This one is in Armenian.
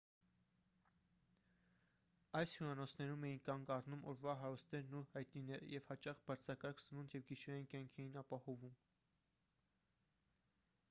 այս հյուրանոցներում էին կանգ առնում օրվա հարուստներն ու հայտնիները և հաճախ բաձրակարգ սնունդ և գիշերային կյանք էին ապահովում